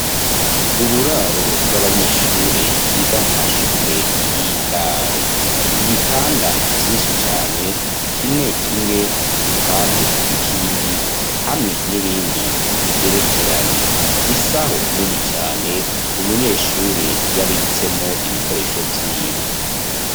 Uburaro bw'abanyeshure biga mu mashure y'indaro, ibitanda vyinshi cane, kimwe kimwe iruhande y'ikindi, hamwe n'ibindi bigerekeranye, isaho nini cane umunyeshure yabitsemwo ibikoresho vyiwe.